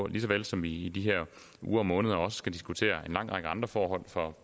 lige så vel som vi i de her uger og måneder skal diskutere en lang række andre forhold for